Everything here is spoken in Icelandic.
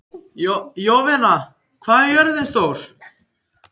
Jovina, hvað er jörðin stór?